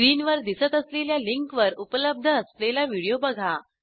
स्क्रीनवर दिसत असलेल्या लिंकवर उपलब्ध असलेला व्हिडिओ बघा